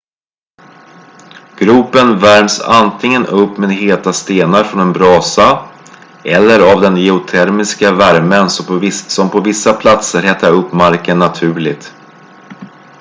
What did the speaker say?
gropen värms antingen upp med heta stenar från en brasa eller av den geotermiska värmen som på vissa platser hettar upp marken naturligt